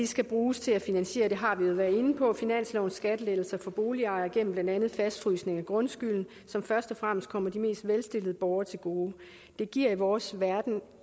skal bruges til at finansiere og det har vi jo været inde på finanslovens skattelettelser for boligejere gennem blandt andet fastfrysning af grundskylden som først og fremmest kommer de mest velstillede borgere til gode det giver i vores verden